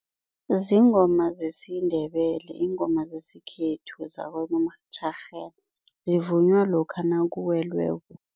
Ziingoma zesiNdebele, ziingoma zesikhethu zako zivunywa lokha nakuwelweko.